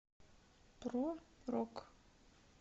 про рок